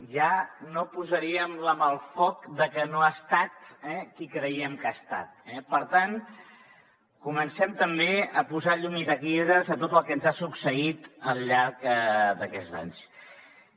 ja no posaríem la mà al foc de que no ha estat qui creiem que ha estat eh per tant comencem també a posar llum i taquígrafs a tot el que ens ha succeït al llarg d’aquests anys